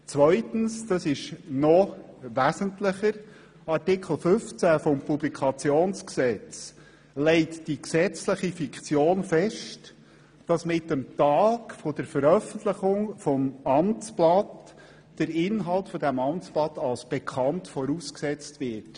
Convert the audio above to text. Zweitens, und das ist noch wesentlicher, legt Artikel 15 des Publikationsgesetzes die gesetzliche Fiktion fest, dass mit dem Tag der Veröffentlichung des Amtsblatts dessen Inhalt bei jedermann und jederfrau als bekannt vorausgesetzt wird.